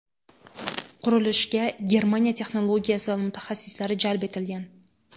Qurilishga Germaniya texnologiyasi va mutaxassislari jalb etilgan.